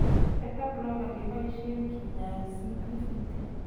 Beta blocker kebasyen kinyaay CPVT.